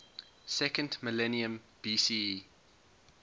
second millennium bce